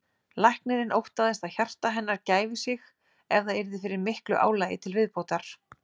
Læknirinn óttaðist að hjarta hennar gæfi sig ef það yrði fyrir miklu álagi til viðbótar.